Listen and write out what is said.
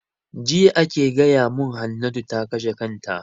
Jiya ake gaya mun Hannatu ta kashe kanta